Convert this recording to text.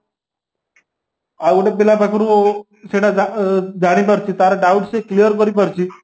ଆଉଗୋଟିଏ ପିଲା ପାଖରୁ ସେଇଟା ଜାଣିପାରୁଛି ତାର doubt ସେ clear କରିପାରୁଛି